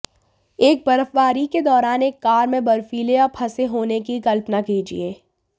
एक बर्फबारी के दौरान एक कार में बर्फीले या फंसे होने की कल्पना कीजिए